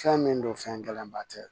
Fɛn min don fɛn gɛlɛnba tɛ